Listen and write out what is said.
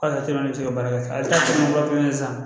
K'a ka teliman tɛ se ka baara kɛ ale ta man fɛn san